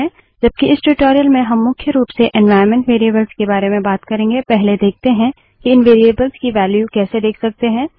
जबकि इस ट्यूटोरियल में हम मुख्य रूप से एन्वाइरन्मेंट वेरिएबल्स के बारे में बात करेंगे पहले देखते हैं कि इन वेरिएबल्स की वेल्यू कैसे देख सकते हैं